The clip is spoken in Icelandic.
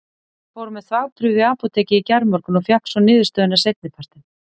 Ég fór með þvagprufu í apótekið í gærmorgun og fékk svo niðurstöðuna seinni partinn.